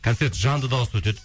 концерт жанды дауыста өтеді